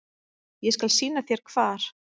Ég skal sýna þér hvar.